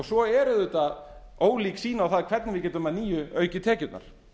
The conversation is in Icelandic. svo er auðvitað ólík sýn á það hvernig við getum að nýju aukið tekjurnar